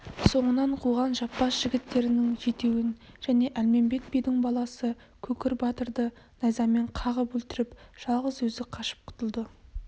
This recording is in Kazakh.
соңынан қуған жаппас жігіттерінің жетеуін және әлмембет бидің баласы көкір батырды найзамен қағып өлтіріп жалғыз өзі қашып құтылды